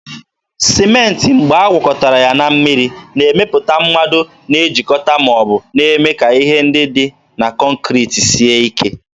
Sịmentị mgbe agwakọtara ya na mmiri, na-emepụta mmado na-ejikọta ma ọ bụ na-eme ka ihe ndị dị na kọnkriti sie ike.